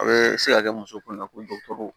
A bɛ se ka kɛ muso kunna ko